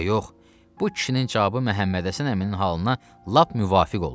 Bu kişinin cavabı Məhəmmədhəsən əminin halına lap müvafiq oldu.